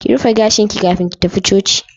Ki rufe gashin ki kafin ki tafi Coci